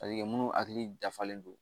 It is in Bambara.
minnu hakili dafalen don